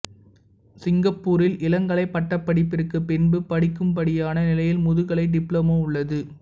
சிங்கப்பூரில் இளங்கலை பட்டபடிப்பிற்கு பின்பு படிக்கும்படியான நிலையில் முதுகலை டிப்ளமோ உள்ளது